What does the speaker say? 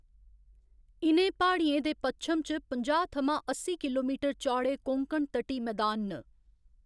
इ'नें प्हाड़ियें दे पच्छम च पंजाह्‌ थमां अस्सी किलोमीटर चौड़े कोंकण तटी मैदान न।